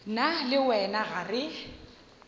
nna le wena ga re